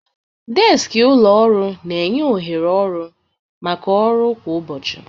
Deskị ụlọ ọrụ na-enye ohere ọrụ maka ọrụ kwa ụbọchị.